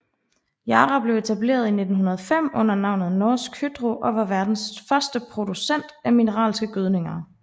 Yara blev etableret i 1905 under navnet Norsk Hydro og var verdens første producent af mineralske gødninger